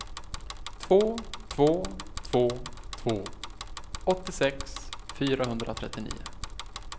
två två två två åttiosex fyrahundratrettionio